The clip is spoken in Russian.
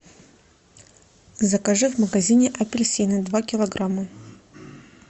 закажи в магазине апельсины два килограмма